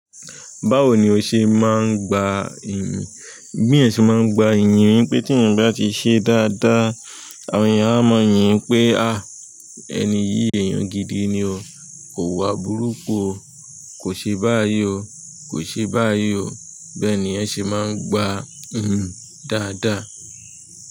Báwo ni o ṣe máa ń gba iyì? Bí ẹ̀yàn ṣe máa ń gba iyì ni pé tí ẹ̀yin bá ti ṣe dáadáa, àwọn ènìyàn á mọ yín pé, à, ẹni yìí èèyàn gidi ni o. Kò wa burúkú o. Kò ṣe báyìí o. Kò ṣe báyìí o. Bẹ́ẹ̀ ni ẹ ṣe máa ń gba iyì dáadáa.